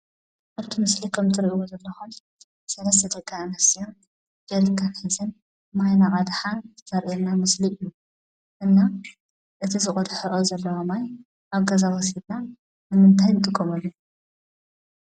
አብቲ ምሰሊ ከምእትሪእዎ ዘለኹም ሰለስተ ደቂ አንስትዮ ጀሪካን ሒዘን ማይ እናቀድሓ ዘርኤና ምሰሊ እዩ። እና እቲ ዝቀድሕኦ ዘለዋ ማይ አብ ገዛ ወሲድና ንምንታይ ንጥቀመሉ?